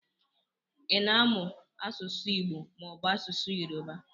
Ịna amụ asụsụ Igbo mọọbụ asụsụ Yoruba?